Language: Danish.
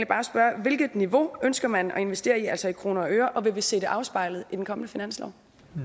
bare spørge på hvilket niveau ønsker man at investere altså i kroner og øre og vil vi se det afspejlet i den kommende finanslov